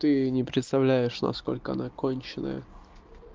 ты не представляешь насколько она конченная